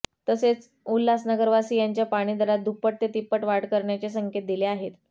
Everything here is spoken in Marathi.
तसेच उल्हासनगरवासीयांच्या पाणी दरात दुप्पट ते तिप्पट वाढ करण्याचे संकेत दिले आहेत